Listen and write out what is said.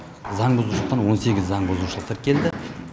заңбұзушылықтан он сегіз заңбұзушылық тіркелді